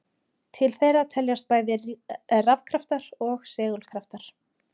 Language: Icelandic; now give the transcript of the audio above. Til þeirra teljast bæði rafkraftar og segulkraftar.